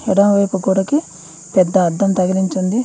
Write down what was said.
ఎడమవైపు గోడకి పెద్ద అద్దం తగిలించి ఉంది.